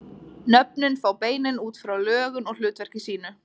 Nöfnin fá beinin út frá lögun og hlutverki sínu.